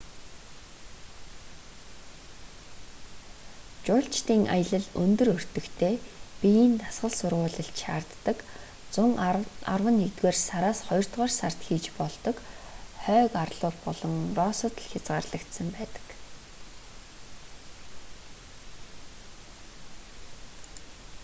жуулчдын аялал өндөр өртөгтэй биеийн дасгал сургуулилт шаарддаг зун арваннэгдүгээр сараас хоёрдугаар сард хийж болдог хойг арлууд болон россод л хязгаарлагдсан байдаг